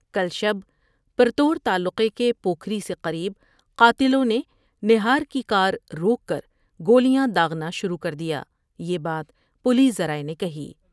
کل شب پرتو ر تعلقے کے پوکھری سے قریب قاتلوں نے نہار کی کارروک کر گولیاں داغنا شروع کر دیا یہ بات پولیس ذرائع نے کہی ۔